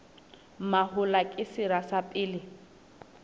mahola ke sera sa pele